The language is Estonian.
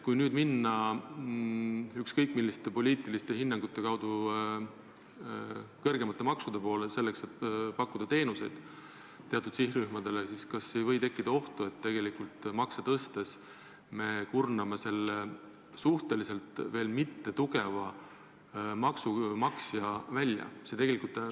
Kui nüüd suunduda ükskõik milliste poliitiliste otsuste peale kõrgemate maksude poole, selleks et pakkuda teenuseid teatud sihtrühmadele, siis kas ei või tekkida oht, et me kurname oma veel mitte tugeva maksumaksja välja?